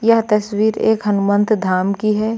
यह तस्वीर एक हनुमंत धाम की है।